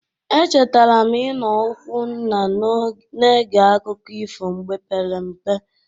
Echetara m ịno ụkwụ nna na-ege akụkọ ifo mgbe pere mpe.